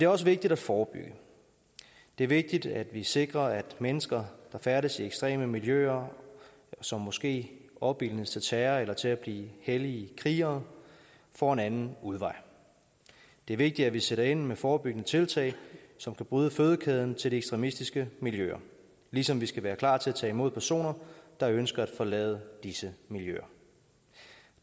også vigtigt at forebygge det er vigtigt at vi sikrer at mennesker der færdes i ekstreme miljøer og som måske opildnes til terror eller til at blive hellige krigere får en anden udvej det er vigtigt at vi sætter ind med forebyggende tiltag som kan bryde fødekæden til de ekstremistiske miljøer ligesom vi skal være klar til at tage imod personer der ønsker at forlade disse miljøer